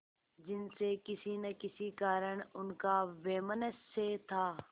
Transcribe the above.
जिनसे किसी न किसी कारण उनका वैमनस्य था